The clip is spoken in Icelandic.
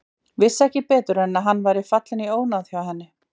Vissi ekki betur en að hann væri fallinn í ónáð hjá henni.